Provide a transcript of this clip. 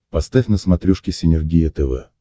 поставь на смотрешке синергия тв